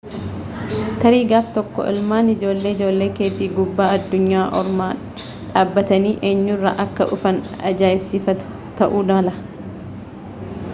tarii gaaf tokko ilmaan ijoollee ijoollee keetii gubbaa addunyaa ormaa dhaabbatanii enyurraa akka dhufan ajaa'ibsiifatu ta'uu mala